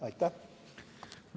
Aitäh!